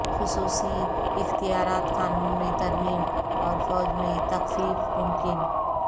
خصوصی اختیارات قانون میں ترمیم اور فوج میں تخفیف ممکن